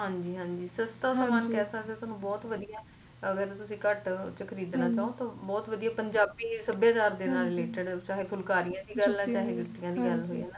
ਹਾਂਜੀ ਹਾਂਜੀ ਸਸਤਾ ਸਮਾਨ ਕੇਹ ਸਕਦੇ ਓ ਤੁਹਾਨੂੰ ਬਹੁਤ ਵਧੀਆ ਅਗਰ ਤੁਸੀ ਘਟ ਤੇ ਖਰੀਦਣਾ ਤਾਂ ਬਹੁਤ ਵਧੀਆ ਪੰਜਾਬੀ ਸੱਭਿਆਚਾਰ ਨਾਲ related ਚਾਹੇ ਫੁਲਕਾਰੀਆਂ ਦੀ ਗਲ ਹੋਵੇ ਚਾਹੇ ਜਿੱਤਿਆ ਦੀ ਗੱਲ ਹੋਵੇ